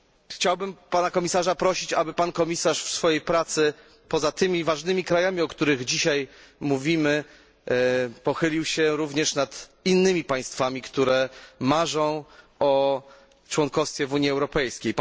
Chciałem pana komisarza prosić, aby pan w swojej pracy poza tymi ważnymi krajami, o których tutaj dzisiaj mówimy pochylił się również nad innymi państwami, które marzą o członkostwie w Unii Europejskiej.